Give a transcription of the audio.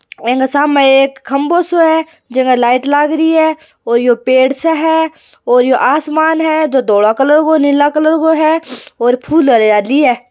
एने सामने एक खम्बो सो है जामे लाइट लाग रही है और ये पेड़ से है और ये आसमान है जो धोला कलर को नीलो कलर को है और फुल हरियाली है।